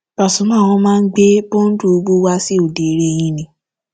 pasumà wọn máa ń gbé bọǹdù owó wa sí òde eré yín ni